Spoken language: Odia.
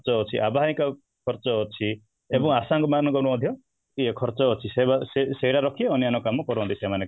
ଖର୍ଚ୍ଚ ଅଛି ଆବାହିକା ଖର୍ଚ୍ଚ ଅଛି ଏବଂ ଆଶାକର୍ମୀ ମାନଙ୍କର ମଧ୍ୟ ଇୟେ ଖର୍ଚ୍ଚ ଅଛି ସେଇଗୁଡ଼ା ରଖି ଅନ୍ୟାନ କାମ କରନ୍ତି ସେମାନେ